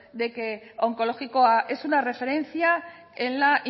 de que onkologikoa es una referencia en la